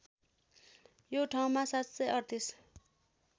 यो ठाउँमा ७३८